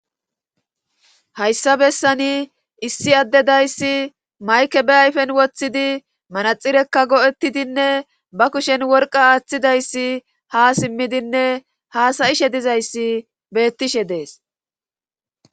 hayssa bessani issi addedayssi mayke be ayfen woththidi manaxirekka go7ettidinne ba kushen worqa aaththidayssi ha simmidinne haasayishe dizayssi beettishe dees